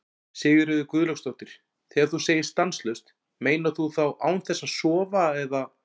Sigríður Guðlaugsdóttir: Þegar þú segir stanslaust, meinar þú þá án þess að sofa eða?